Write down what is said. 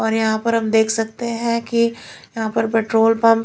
और यहां पर हम देख सकते हैं कि यहां पर पेट्रोल पंप --